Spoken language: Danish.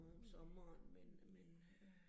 Ja, ja